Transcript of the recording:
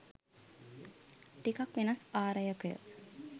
ටිකක් වෙනස් ආරයක